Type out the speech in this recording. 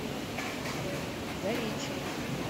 заречье